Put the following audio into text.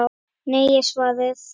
Nei er svarið.